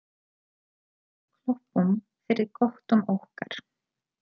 Klöppum fyrir köttum okkar!